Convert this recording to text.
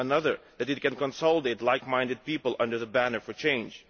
Another, that it can consolidate like-minded people under the banner for change.